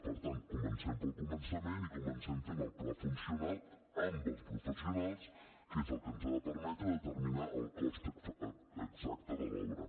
per tant comencem pel començament i comencem fent el pla funcional amb els professionals que és el que ens ha de permetre determinar el cost exacte de l’obra